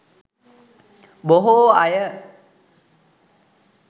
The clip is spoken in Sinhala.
බොහෝ අය